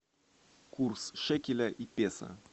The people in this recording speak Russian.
курс шекеля и песо